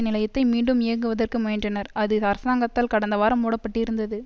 நிலையத்தை மீண்டும் இயக்குவதற்கு முயன்றனர்அது அரசாங்கத்தால் கடந்த வாரம் மூடப்பட்டிருந்தது